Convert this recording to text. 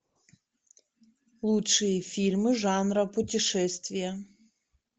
лучшие фильмы жанра путешествия